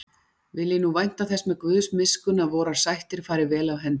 Vil ég nú vænta þess með Guðs miskunn að vorar sættir fari vel af hendi.